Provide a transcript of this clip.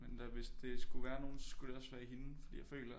Men der er vidst det skulle være nogen så skulle det også være hende fordi jeg føler